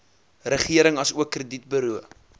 regering asook kredietburo